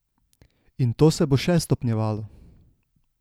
In to se bo še stopnjevalo.